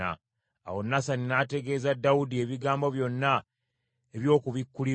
Awo Nasani n’ategeeza Dawudi ebigambo byonna eby’okubikkulirwa okwo.